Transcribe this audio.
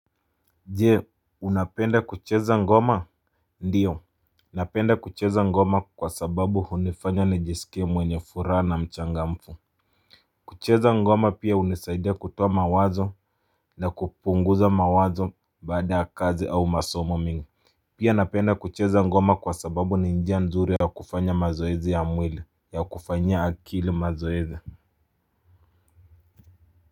Je, unapenda kucheza ngoma? Ndiyo. Napenda kucheza ngoma kwa sababu hunifanya nijiskie mwenye furaha na mchangamfu. Kucheza ngoma pia hunisaidia kutoa mawazo na kupunguza mawazo baada ya kazi au masomo mingi. Pia napenda kucheza ngoma kwa sababu ni njia nzuri ya kufanya mazoezi ya mwili, ya kufanyia akili mazoezi.